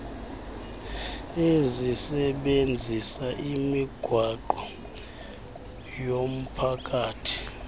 ezisebenzisa imigwaqo yomphakathi